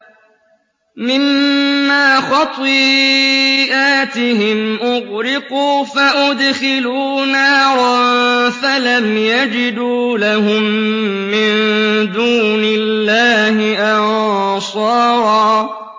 مِّمَّا خَطِيئَاتِهِمْ أُغْرِقُوا فَأُدْخِلُوا نَارًا فَلَمْ يَجِدُوا لَهُم مِّن دُونِ اللَّهِ أَنصَارًا